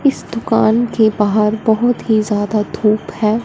इस दुकान के बाहर बहोत ही ज्यादा धूप है।